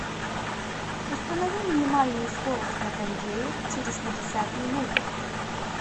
установи минимальную скорость на кондее через пятьдесят минут